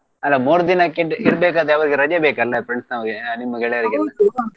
ಅಲ್ಲಾ ಮೂರ್ ದಿನಕ್ಕೆ ಇರಬೇಕಾದ್ರೆ ಅವ್ರಗೇ ರಜೆ ಬೇಕಲ್ಲಾ friends ನೋರ್ಗೆ ನಿಮ್ಮ .